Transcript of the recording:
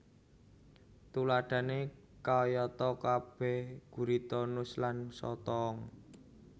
Tuladhané kayatakabehé gurita nus lan sotong